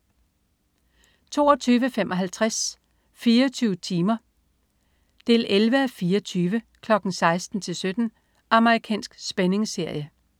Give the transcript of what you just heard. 22.55 24 timer 11:24. 16:00-17:00. Amerikansk spændingsserie